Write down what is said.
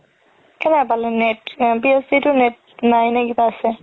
কেনেকে পালে net net নাই নে কিবা আছে